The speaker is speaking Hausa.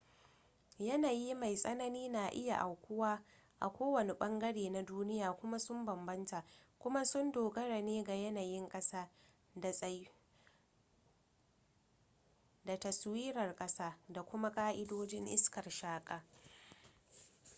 yanayi mai tsanani na iya aukuwa a ko wani bangare na duniya kuma sun bambanta kuma sun dogara ne ga yanayin kasa da taswirar kasa da kuma ka'idojin iskar shaka